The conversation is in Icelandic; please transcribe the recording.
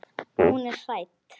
Hún er hrædd.